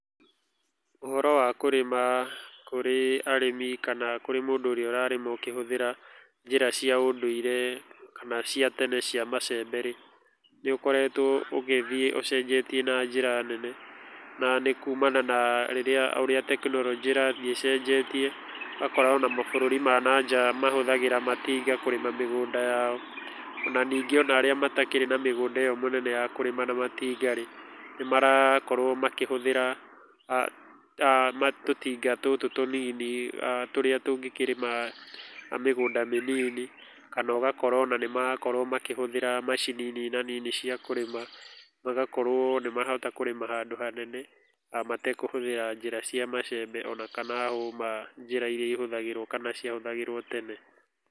Ũhoro wa kũrĩma kũrĩ arĩmi kana kũrĩ mũndũ ũrĩa ũrarĩma ũkĩhũthĩra njĩra cia ũndũire kana cia tene cia macembe rĩ, nĩ ũkoretwo ũgĩthiĩ ũcenjetie na njĩra nene na nĩ kumana na rĩrĩa tekinoronjĩ ĩrathiĩ ĩcenjetie ũgakora ona mabũrũri mananja mahũthagĩra matinga kũrĩma mĩgũnda yao, ona ningĩ arĩa matakĩrĩ na mĩgũnda ĩyo mĩnene ya kũrĩma na matinga rĩ, nĩ marakorwo makĩhũthĩra tũtinga tũtũ tũnini, tũrĩa tũngĩkĩra mĩgũnda mĩnini kana ũgakora ona nĩ marakorwo makĩhũthĩra macini nina nini cia kũrĩma na ũgakorwo nĩ mahota kũrĩma handũ hanene matekũhũthĩra njĩra cia macembe ona kana hũma iria ihũthagĩrwo kana cia hũthagĩrwo tene.